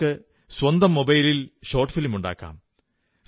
നിങ്ങൾക്ക് സ്വന്തം മൊബൈലിൽ ഷോർട് ഫിലിം ഉണ്ടാക്കാം